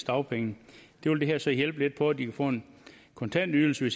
dagpengene det vil det her så hjælpe lidt på så de får en kontantydelse